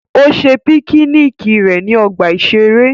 Ó ṣe píkíníkì rẹ̀ ní ọgbà-ìṣeré